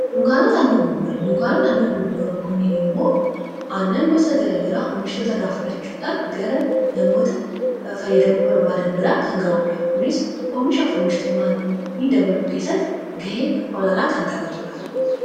dnknt anggrn dnknt anngrgrn knn m ann gs gr gr omst cl gr nm fydm bbd br kngd knz omis 4mis mnm dbl kst gh oll kntbtd